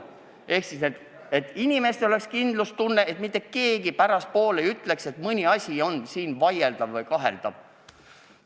Inimestel peab olema kindlustunne, et mitte keegi pärastpoole ei saaks öelda, et mõni asi on siin seaduses vaieldav või kaheldav.